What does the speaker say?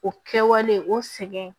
O kɛwale o sɛgɛn